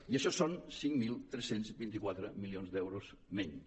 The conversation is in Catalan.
i això són cinc mil tres cents i vint quatre milions d’euros menys